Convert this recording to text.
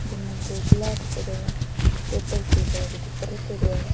बिन बे दो गिलास पड़ा है टेबल सी के बि के ऊपर रखेडॉ है।